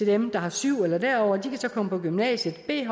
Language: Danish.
dem der har syv eller derover som så kan komme på gymnasiet et